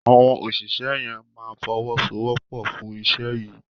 Awọn òṣìṣẹ́ yén má fowosowopo fun iṣé yí.